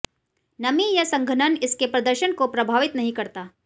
नमी या संघनन इसके प्रदर्शन को प्रभावित नहीं करता